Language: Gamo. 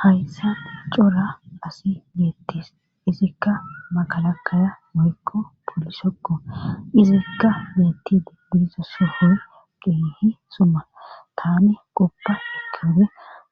haysan cora asi beettes;etikka makalakaya woykko polisekko;izikka beettidi diiza sohoy keehi xuma;taani qopa ekkiyode